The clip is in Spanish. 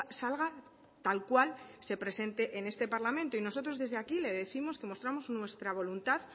salga tal cual se presente en este parlamento y nosotros desde aquí le décimos que mostramos nuestra voluntad